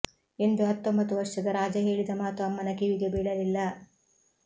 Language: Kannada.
ಎಂದು ಹತ್ತೊಂಬತ್ತು ವರ್ಷದ ರಾಜ ಹೇಳಿದ ಮಾತು ಅಮ್ಮನ ಕಿವಿಗೆ ಬೀಳಲಿಲ್ಲ